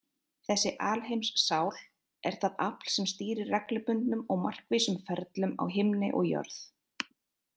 Þessi alheimssál er það afl sem stýrir reglubundnum og markvísum ferlum á himni og jörð.